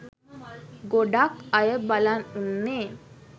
ගොඩක් අය බලන් උන්නේ